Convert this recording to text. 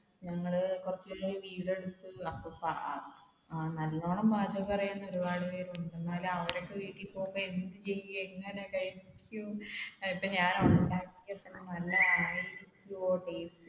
നല്ലോണം പാചകം അറിയാവുന്ന ഒരുപാട് പേരുണ്ട് എന്നാലും അവരൊക്കെ വീട്ടിൽ പോകുമ്പോൾ എനിക്ക് എങ്ങനെ കഴിക്കും